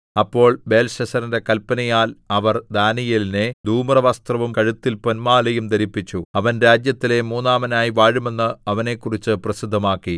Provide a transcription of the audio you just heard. അപ്പോൾ ബേൽശസ്സരിന്റെ കല്പനയാൽ അവർ ദാനീയേലിനെ ധൂമ്രവസ്ത്രവും കഴുത്തിൽ പൊന്മാലയും ധരിപ്പിച്ചു അവൻ രാജ്യത്തിലെ മൂന്നാമനായി വാഴും എന്ന് അവനെക്കുറിച്ച് പ്രസിദ്ധമാക്കി